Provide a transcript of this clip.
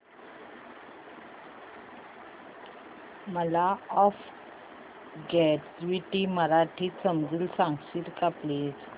मला law of gravity मराठीत समजून सांगशील का प्लीज